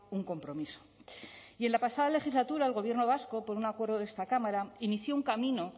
un compromiso y en la pasada legislatura el gobierno vasco por un acuerdo de esta cámara inició un camino